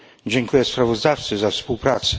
Dziękuję sprawozdawcy za współpracę.